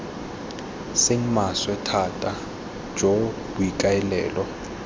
seng maswe thata jo boikaelelo